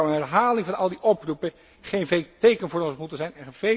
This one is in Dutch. Maar zou een herhaling van al die oproepen geen veeg teken voor ons moeten zijn?